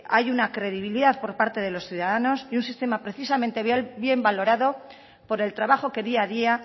hay una credibilidad por parte de los ciudadanos y un sistema precisamente bien valorado por el trabajo que día a día